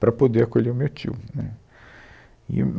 para poder acolher o meu tio, né, e o